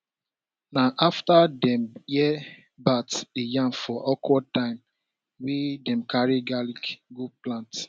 na afta dem hear bat dey yarn for awkward time wey dem carry garlic go plant